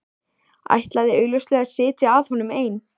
Ætlaði augljóslega að sitja að honum ein.